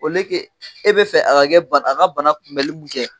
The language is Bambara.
e be fɛ a ka kɛ ban a ka bana kunbɛli mun kɛ